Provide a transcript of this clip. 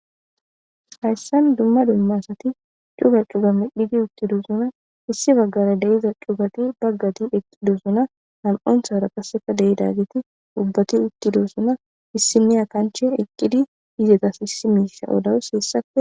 hayssan dumma dummasati cuga cuga midhidi uttidosuna issi baggara deiza cugati baggati eqqidosuna ham7onthara kasseka deidagiti ubbati uttidosuna issimiya kanche eqqidi izetas issi miisa odawus hessape